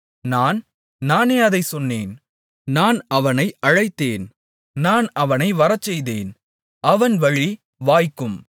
நான் நானே அதைச் சொன்னேன் நான் அவனை அழைத்தேன் நான் அவனை வரச்செய்தேன் அவன் வழி வாய்க்கும்